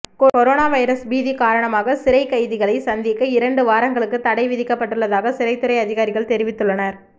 corona virus பீதி காரணமாக சிறைக் கைதிகளை சந்திக்க இரண்டு வாரங்களுக்கு தடை விதிக்கப்பட்டுள்ளதாக சிறைத்துறை அதிகாரிகள் தெரிவித்துள்ளனர்